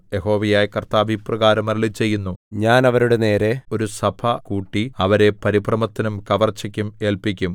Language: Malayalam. യഹോവയായ കർത്താവ് ഇപ്രകാരം അരുളിച്ചെയ്യുന്നു ഞാൻ അവരുടെ നേരെ ഒരു സഭ കൂട്ടി അവരെ പരിഭ്രമത്തിനും കവർച്ചയ്ക്കും ഏല്പിക്കും